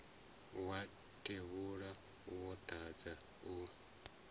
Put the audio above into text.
wa tevhula wo dadza u